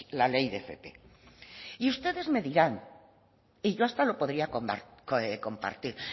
la ley de fp y ustedes me dirán yo hasta lo podría compartir